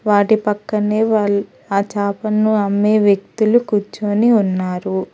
వాటి పక్కనే వాళ్ ఆ చేపను అమ్మే వ్యక్తులు కూర్చొని ఉన్నారు.